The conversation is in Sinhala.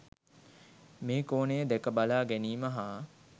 මේ කෝණය දැක බලා ගැනීම හා